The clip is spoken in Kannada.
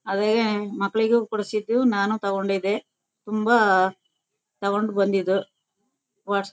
ಅದೇ ಮಕ್ಕಳಿಗೂ ಕೊಡ್ಸಿದು ನಾನು ತಗೊಂಡಿದೆ ತುಂಬಾ ತಗೊಂಡು ಬಂದಿದ್ವು ವಾಟ್ಸ್ --